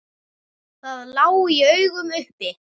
Það lá í augum uppi.